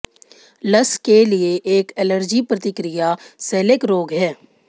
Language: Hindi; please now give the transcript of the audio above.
लस के लिए एक एलर्जी प्रतिक्रिया सेलेक रोग है